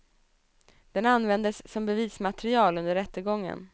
Den användes som bevismaterial under rättegången.